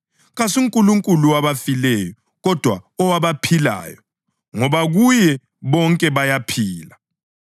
KasuNkulunkulu wabafileyo, kodwa owabaphilayo, ngoba kuye bonke bayaphila.”